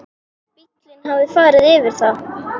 Bíllinn hafði farið yfir það.